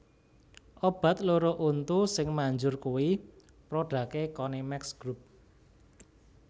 Obat loro untu sing manjur kui prodake Konimex Group